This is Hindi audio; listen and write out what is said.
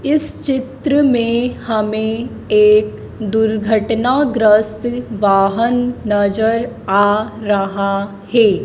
इस चित्र में हमें एक दुर्घटनाग्रस्त वाहन नजर आ रहा है।